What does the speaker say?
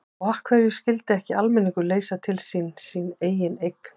Og af hverju skyldi ekki almenningur leysa til sín sína eigin eign?